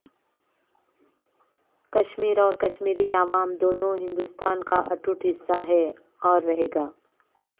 کشمیر اور کشمیری عوام دونوں ہندوستان کا اٹوٹ حصہ ہے اور رہیگا